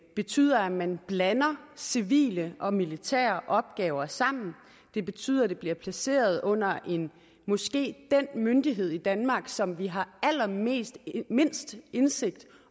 betyder at man blander civile og militære opgaver sammen det betyder at det bliver placeret under måske den myndighed i danmark som vi har allermindst indsigt i